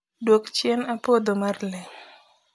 duok chien a puodho mar lee